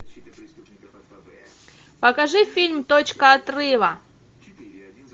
покажи фильм точка отрыва